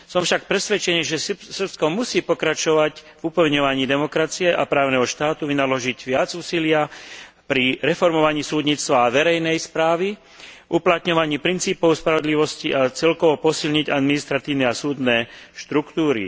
Som však presvedčený, že Srbsko musí pokračovať v upevňovaní demokracie a právneho štátu, vynaložiť viac úsilia pri reformovaní súdnictva a verejnej správy, uplatňovaní princípov spravodlivosti, a celkovo posilniť administratívne a súdne štruktúry.